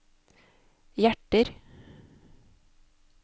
hjerter